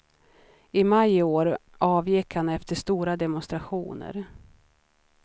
I maj i år avgick han efter stora demonstrationer.